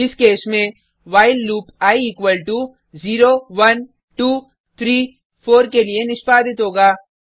इस केस में while loop I equal to 0 1 2 3 4 के लिए निष्पादित होगा